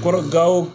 Kɔrɔ gawo